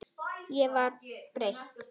Ég var breytt.